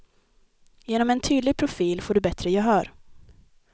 Genom en tydlig profil får du bättre gehör.